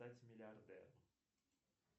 стать миллиардером